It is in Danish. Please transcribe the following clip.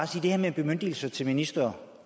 til det her med bemyndigelser til ministre